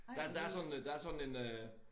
Der der er sådan der er sådan en øh